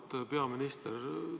Auväärt peaminister!